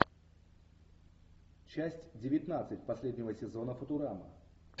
часть девятнадцать последнего сезона футурама